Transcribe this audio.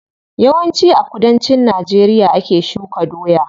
Yawan ci a kudancin najeriya ake shuka doya.